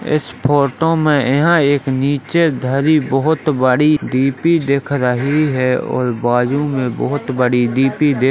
इस फोटो में यहाँ एक नीचे धरी बहोत बड़ी डी.पी दिख रही है और बाजू में बहोत बड़ी डी.पी दे --